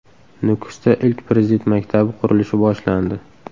Nukusda ilk Prezident maktabi qurilishi boshlandi.